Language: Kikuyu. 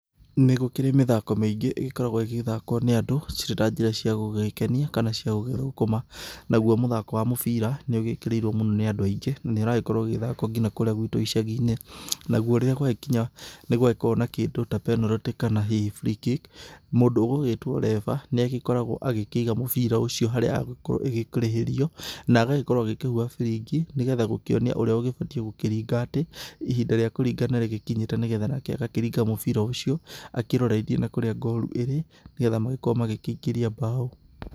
Nĩgũkĩrĩ mĩthako mĩingĩ ĩgĩkoragwo ĩgĩthakwo nĩ andũ ciíĩ ta njĩra cĩagũgũkenia kana, nauo mũthako wa mũbira nĩũgĩkĩrĩirwo mũno nĩ anddũ aingĩ, nĩrakorwo ĩgĩthakwo nginya kũrĩa gwitũ gĩcaginĩ ,nauo rĩrĩa kwa gĩkinya nĩgwagĩkorwo kĩndũ ta penalty kana hihi free kick mũndũ etagwa reffer nĩakoragwa agĩkĩiga mũbira ũcio harĩa hegũkorwo hakĩrĩhĩrio na agagĩkorwo agĩkĩhuha firibi nĩgetha gũkĩonia ũria abatie gũkĩringa rĩrĩa ihinda rĩa kũrĩnga rĩkinyire nĩgetha nake agakĩringa mũbira ũcio akĩrorithia nakũrĩa ngoru ĩrĩ nĩgetha makorwo makĩingĩria mbao.